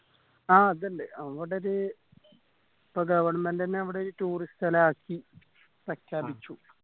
ആ അതിണ്ട് അങ്ങോട്ടേക് ഇപ്പൊ govt എന്നെ അവിടെ ഈ tourist സ്ഥലാക്കി പ്രെഖ്യാപിച്ചു